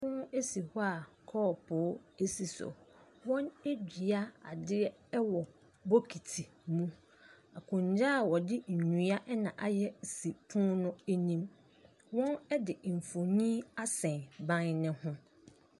Pono si hɔ a kɔɔpoo si so. Wɔadua adeɛ wɔ bokiti mu. Akonnwa a wɔde nnua na ayɛ si pono no anim. Wɔde mfonin asɛn ban no ho.